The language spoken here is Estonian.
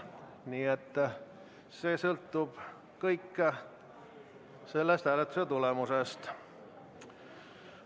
Nii et kõik sõltub sellest hääletustulemusest.